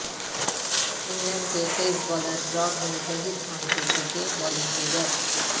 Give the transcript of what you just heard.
England کے تیز bowler Broad نے ظہیر خان سے سیکھے بولنگ کے گر